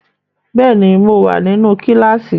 Bẹ́ẹ̀ ni, mo wà nínú kíláásì.